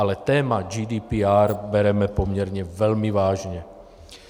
Ale téma GDPR bereme poměrně velmi vážně.